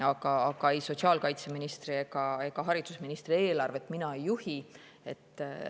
Aga ei sotsiaalkaitseministri ega haridusministri eelarvet mina ei juhi.